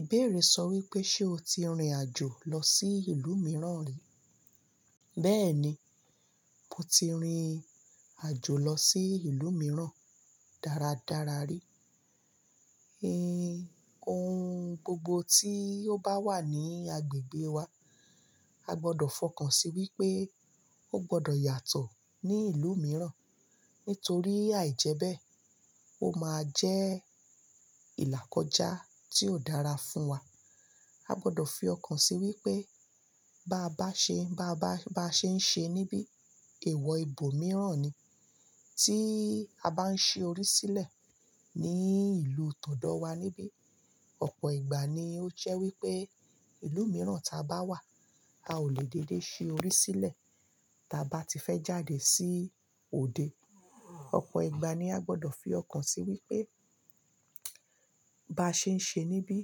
Ìbéèrè sọ wípé ṣe o ti rìnrìn àjò lọ sí ìlú mìíràn ri? Béèni mo ti rìnrìn àjò lọ sí ìlú mìíràn dáradára rí. Eh, ohun gbogbo tí ó bá wà ní agbègbè wa, a gbọdọ̀ fọkàn sí wípé, ó gbọdọ̀ yàtọ̀ ní ìlú mìíràn nítorí àì jẹbẹ́, ó máa jẹ́ ìlàkọjá tí ó dára fún wa. A gbọdọ̀ fi ọkàn sí wípé bá a bá ṣe, bá a bá ṣe ń ṣe níbí, èèwọ̀ ibo mìíràn ni tí a bá ń ṣe orí sílẹ̀ ní ìlú tọ̀ọ̀dọ̀ wá níbí. Ọ̀pọ̀ ìgbà ni ó jé wípé ìlú mìíràn táa bá wà, a ò lè dédé ṣi orí sílẹ̀ táa bá ti fẹ́ jáde sí òde. Ọ̀pọ̀ ìgbà ni a gbọdọ̀ fi ọkàn sí wípé bá a ṣe ń ṣe níbí,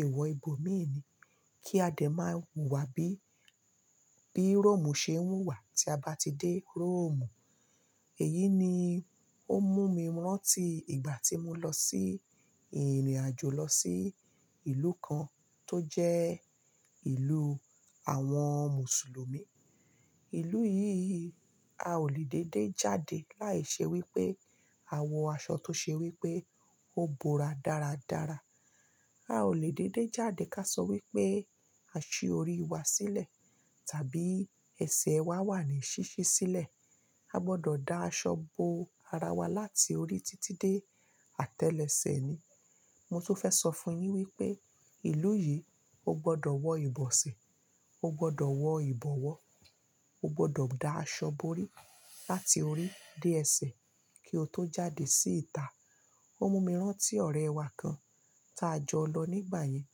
èèwọ̀ ibo míì ni kí a dẹ̀ máa hùwà bí, bí Rómù ṣe ń hùwà tí a bá ti dé Rómù. Èyí ni ó mú mi rántí ìgbà tí mo lọ sí ìrìnàjò lọ sí ìlú kan tó jẹ́ ìlú àwọn Mùsùlùmí. Ìlú yìí a ò lè dédé jáde láìṣe wípé a wọ aṣọ tó ṣe wípé ó bo ra dáradára. A ò lè dédé jáde káṣọ wípé a ṣí orí wa sílẹ̀, tàbí ẹsẹ̀ wa wà ní ṣíṣí sílẹ̀. A gbọdọ̀ da aṣọ bo ara wa láti orí títí dé àtẹ́lẹsẹ̀ ni. Mo tó fẹ́ sọ fún yin wípé ìlú yìí, ó gbọdọ̀ wọ ìbọ̀sẹ̀, ó gbọdọ̀ wọ ìbọ̀wọ́, ó gbọdọ̀ da aṣọ bo orí láti orí dé ẹsẹ̀ kí o tó jáde sí ìta. Ó mú mi rántí ọ̀rẹ́ wa kan táa jọ lọ nígbà yẹn.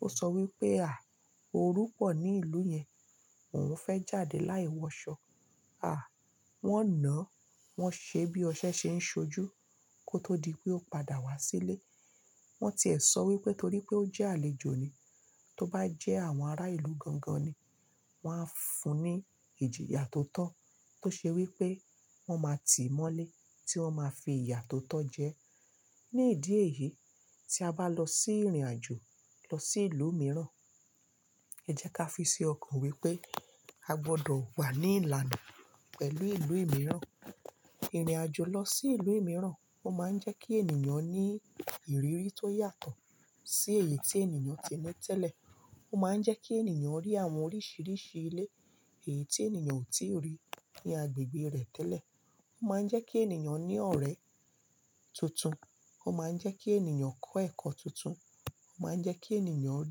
Ó sọ wípé "à, orú pọ̀ ní ìlú yẹn, òun fẹ́ jáde láì wọ aṣọ. À, wón nàá, wón ṣe bí ọṣẹ ṣe ń ṣojú kó tó di pé ó padà wá sílé. Wón ti ẹ sọ wípé torí pé ó jẹ́ àlejò ni, tó bá jẹ́ àwọn ará ìlú gangan ni, wón á fún un ní ìjìyà tó tọ́ tó ṣe wípé wón máa tì í mọ́lé tí wọ́n ma fi ìyà tó tọ́ jẹ ẹ́". Ní ìdí èyí tí a bá lọ sí ìrìnàjò lọ sí ìlú mìíràn, ẹ jẹ́ ká fi ṣi ọkàn wípé a gbọdọ̀ wà ní ìlànà pẹ̀lú ìlú mìíràn. Ìrìnàjò lọ sí ìlú mìíràn ó máa ń jẹ́ kí ènìyàn ní ìrírí tó yàtọ̀ sí èyí tí ènìyàn ti ni tẹ́lẹ̀. Ó máa ń jẹ́ kí ènìyàn rí àwọn oríṣìíríṣìí ilé èyí tí ènìyàn ò tíì rí ní agbègbè rẹ̀ tẹ́lẹ̀. Ó máa ń jẹ́ kí ènìyàn ní ọ̀rẹ́ tuntun. Ó máa ń jẹ́ kí ènìyàn kọ́ ẹ̀kọ́ tuntun. Ó máa ń jẹ́ kí ènìyàn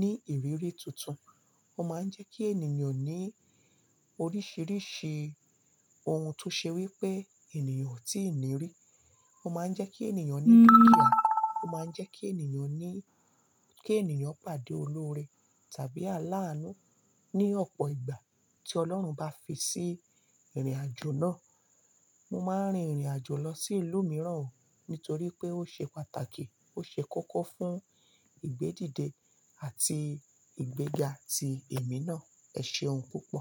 ní ìrírí tuntun. Ó máa ń jẹ́ kí ènìyàn ní oríṣìíríṣìí ohun tó ṣe wípé ènìyàn ò tíì ní rí. Ó máa ń jẹ́ kí ènìyàn ní dúkìá. Ó máa ń jẹ́ kí ènìyàn ní, kí ènìyàn pàdé olórí tàbí aláàánú ní ọ̀pọ̀ ìgbà tí Ọlọ́run bá fi sí ìrìnàjò náà. Mo máa ń rin ìrìnàjò lọ sí ìlú mìíràn o nítorí pé ó ṣe pàtàkì, ó ṣe kókó fún ìgbédìde àti ìgbéga ti èmi náà. Ẹ ṣe ohun púpọ̀.